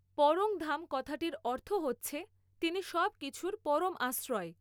পর্ং ধাম কথাটির অর্থ হচ্ছে তিনি সব কিছুর পরম আশ্রয়।